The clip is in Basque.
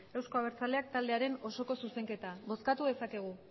euzko abertzaleak taldearen osoko zuzenketa bozkatu dezakegu